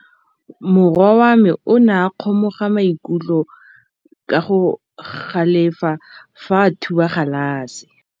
Morwa wa me o ne a kgomoga maikutlo ka go galefa fa a thuba galase.